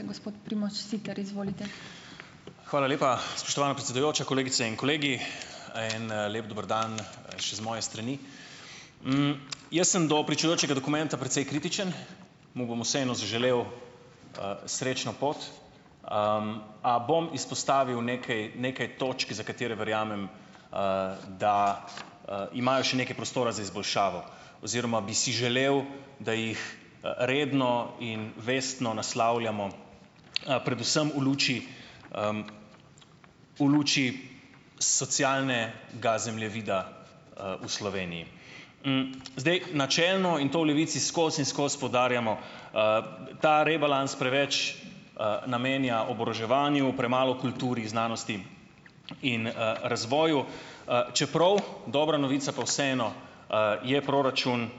Hvala lepa, spoštovana predsedujoča, kolegice in kolegi. En lep dober dan še z moje strani. jaz sem do pričujočega dokumenta precej kritičen. Mu bom vseeno zaželel srečno pot, a bom izpostavil nekaj, nekaj točk, za katere verjamem, da imajo še nekaj prostora za izboljšavo. Oziroma bi si želel, da jih redno in vestno naslavljamo, predvsem v luči v luči socialne- ga zemljevida v Sloveniji. zdaj načelno in to v Levici skoz in skozi poudarjamo, ta rebalans preveč namenja oboroževanju, premalo kulturi, znanosti in razvoju, čeprav dobra novica pa vseeno je proračun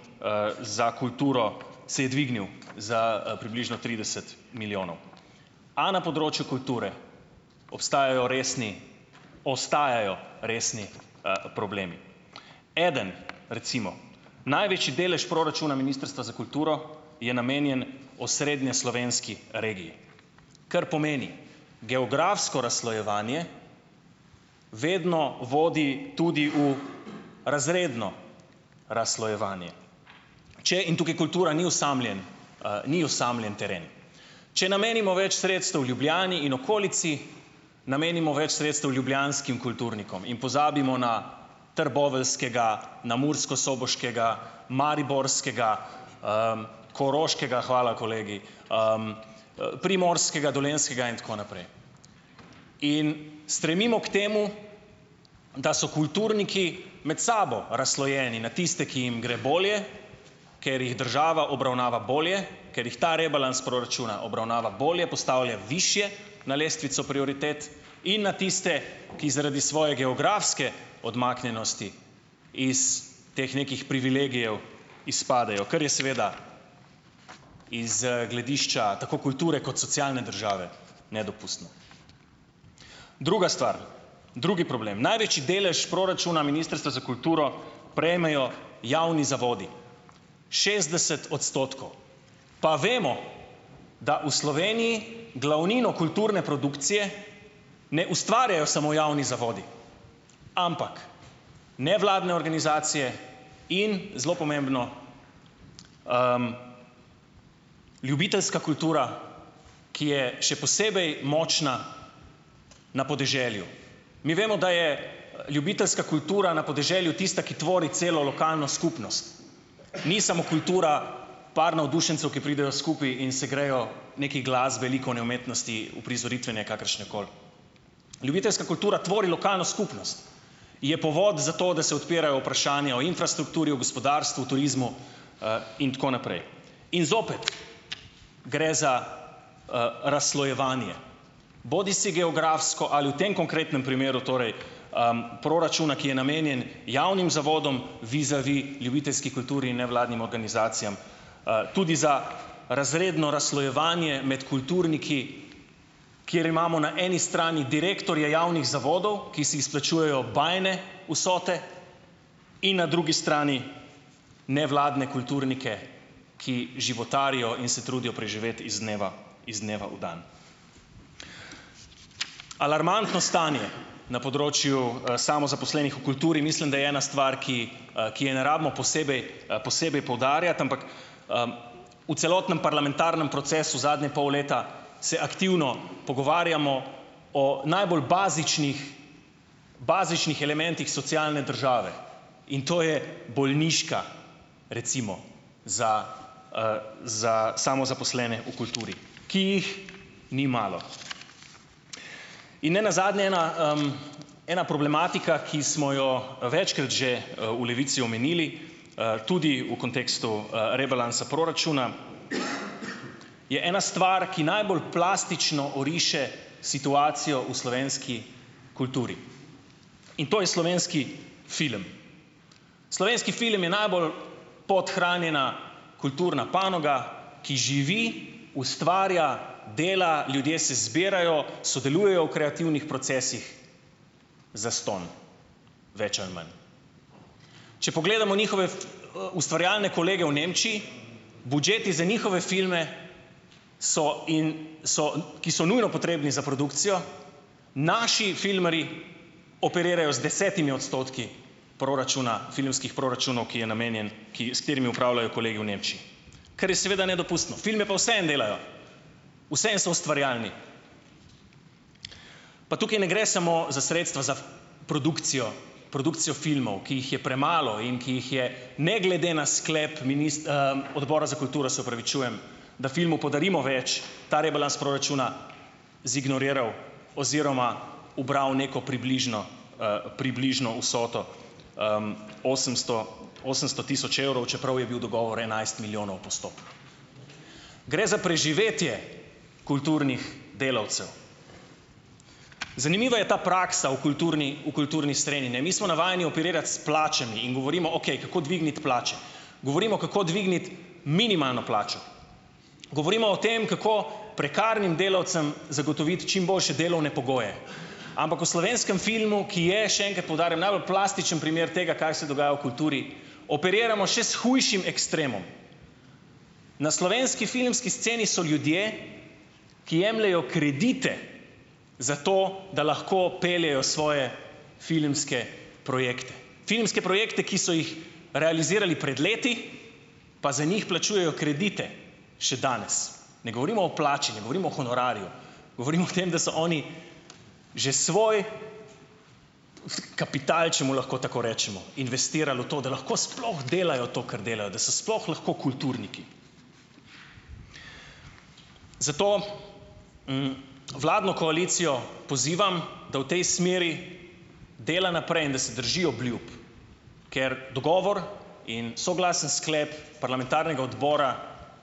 za kulturo, se je dvignil za približno trideset milijonov. A na področju kulture obstajajo resni, ostajajo resni problemi. Eden, recimo. Največji delež proračuna Ministrstva za kulturo je namenjen osrednjeslovenski regiji. Kar pomeni, geografsko razslojevanje vedno vodi tudi v razredno razslojevanje. Če, in tukaj kultura ni osamljen, ni osamljen teren. Če namenimo več sredstev Ljubljani in okolici, namenimo več sredstev ljubljanskim kulturnikom. In pozabimo na trboveljskega, na murskosoboškega, mariborskega koroškega, hvala kolegi, primorskega, dolenjskega in tako naprej. In stremimo k temu, da so kulturniki med sabo razslojeni na tiste, ki jim gre bolje, ker jih država obravnava bolje, ker jih ta rebalans proračuna obravnava bolje, postavlja višje na lestvico prioritet, in na tiste, ki zaradi svoje geografske odmaknjenosti iz teh nekih privilegijev izpadejo, kar je seveda iz gledišča tako kulture kot socialne države, nedopustno . Druga stvar. Drugi problem. Največji delež proračuna Ministrstva za kulturo prejmejo javni zavodi. Šestdeset odstotkov. Pa vemo, da v Sloveniji glavnino kulturne produkcije ne ustvarjajo samo javni zavodi, ampak nevladne organizacije in, zelo pomembno, ljubiteljska kultura, ki je, še posebej močna na podeželju. Mi vemo, da je ljubiteljska kultura na podeželju tista, ki tvori celo lokalno skupnost. Ni samo kultura par navdušencev, ki pridejo skupaj in se grejo nekaj glasbenikov, ne umetnosti uprizoritve, ne kakršnekoli. Ljubiteljska kultura tvori lokalno skupnost. Je povod za to, da se odpirajo vprašanja o infrastrukturi, o gospodarstvu, turizmu, in tako naprej. In zopet gre za razslojevanje. Bodisi geografsko ali v tem konkretnem primeru torej proračuna, ki je namenjen javnim zavodom, vizavi ljubiteljski kulturi in nevladnim organizacijam. tudi za razredno razslojevanje med kulturniki, kjer imamo na eni strani direktorje javnih zavodov, ki si izplačujejo bajne vsote, in na drugi strani nevladne kulturnike, ki životarijo in se trudijo preživeti iz dneva, iz dneva v dan. Alarmantno stanje na področju samozaposlenih v kulturi, mislim, da je ena stvar, ki ki je ne rabimo posebej posebej poudarjati, ampak v celotnem parlamentarnem procesu zadnje pol leta se aktivno pogovarjamo o najbolj bazičnih, bazičnih elementih socialne države. In to je bolniška, recimo za za samozaposlene v kulturi , ki jih ni malo. In nenazadnje ena ena problematika, ki smo jo večkrat že v Levici omenili, tudi v kontekstu rebalansa proračuna, je ena stvar, ki najbolj plastično oriše situacijo v slovenski kulturi. In to je slovenski film. Slovenski film je najbolj podhranjena kulturna panoga, ki živi, ustvarja, dela, ljudje se zbirajo, sodelujejo v kreativnih procesih zastonj. Več ali manj. Če pogledamo njihove ustvarjalne kolege v Nemčiji, budžeti za njihove filme so so, ki so nujno potrebni za produkcijo. Naši filmarji operirajo z desetimi odstotki proračuna, filmskih proračunov, ki je namenjen, s katerimi opravljajo kolegi v Nemčiji. Ker je seveda nedopustno. Filme pa vseeno delajo. Vseeno so ustvarjalni. Pa tukaj ne gre samo za sredstva, za produkcijo, produkcijo filmov, ki jih je premalo in ki jih je ne glede na sklep Odbora za kulturo, se opravičujem, na filmu podarimo več, ta rebalans proračuna zignoriral oziroma ubral neko približno, približno vsoto osemsto, osemsto tisoč evrov, čeprav je bil dogovor enajst milijonov postopno. Gre za preživetje kulturnih delavcev. Zanimivo je ta praksa v kulturni, v kulturni srenji, ne. Mi smo navajeni operirati s plačami in govorimo, okej, kako dvigniti plače. Govorimo, kako dvigniti minimalno plačo. Govorimo o tem, kako prekarnim delavcem zagotoviti čim boljše delovne pogoje. Ampak v slovenskem filmu, ki je, še enkrat poudarjam, najbolj plastičen primer tega, kar se dogaja v kulturi, operiramo še s hujšim ekstremom. Na slovenski filmski sceni so ljudje, ki jemljejo kredite za to, da lahko peljejo svoje filmske projekte. Filmske projekte, ki so jih realizirali pred leti, pa za njih plačujejo kredite še danes. Ne govorimo o plači, ne govorimo o honorarju, govorimo o tem, da so oni že svoj kapital, če mu lahko tako rečemo, investirali v to, da lahko sploh delajo to, kar delajo, da so sploh lahko kulturniki. Zato vladno koalicijo pozivam, da v tej smeri dela naprej in da se drži obljub, ker dogovor in soglasen sklep parlamentarnega odbora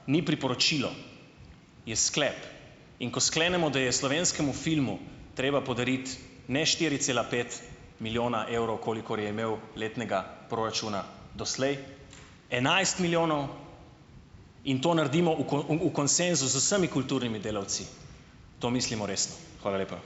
ni priporočilo. Je sklep. In ko sklenemo, da je slovenskemu filmu treba podariti ne štiri cela pet milijona evrov, kolikor je imel letnega proračuna doslej, enajst milijonov, in to naredimo u v konsenzu z vsemi kulturnimi delavci. To mislimo resno. Hvala lepa.